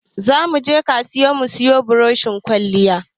Za mu je kasuwa mu siyo burushin kwalliya